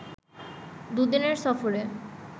দুদিনের সফরে